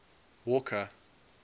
walker